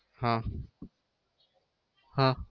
હા હા